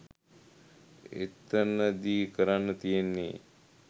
එතනදි කරන්න තියෙන්නේ